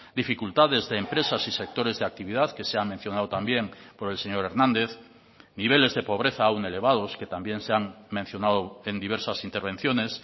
dificultades de empresas y sectores de actividad que se ha mencionado también por el señor hernández niveles de pobreza aún elevados que también se han mencionado en diversas intervenciones